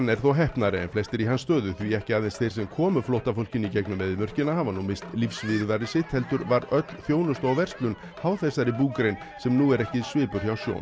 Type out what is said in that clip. er þó heppnari en flestir í hans stöðu því ekki aðeins þeir sem komu flóttafólkinu í gegnum eyðimörkina hafa nú minnst lífsviðurværi sitt heldur var öll þjónusta og verslun háð þessari búgrein sem nú er ekki svipur hjá sjón